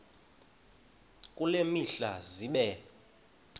kule mihla zibe